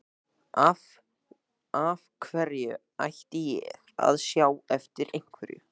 Af hverju ætti ég að sjá eftir einhverju?